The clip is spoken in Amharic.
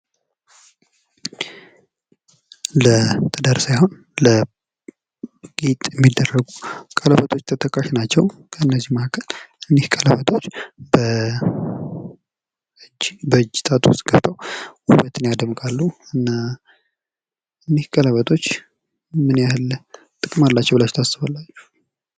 ለትዳር ሳይሆን ለጌጥ የሚደረጉ ቀለበቶች ተጠቃሽ ናቸው። ከነዚህ መካከል እኒህ ቀለበቶች በ..እጅ በእጅ ጣጥ ውስጥ ገብተው ውበትን ያደምቃሉ። እና እኒህ ቀለበቶች ምንያህል ጥቅም አላቸው ብላችሁ ለታስባላችሁ?